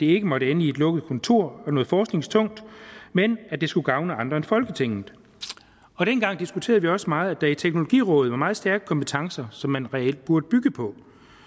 ikke måtte ende i et lukket kontor og noget forskningstungt men at det skulle gavne andre end folketinget dengang diskuterede vi også meget at der i teknologirådet var meget stærke kompetencer som man reelt burde bygge på